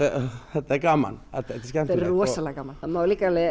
þetta er gaman þetta er skemmtilegt þetta er rosalega gaman það má líka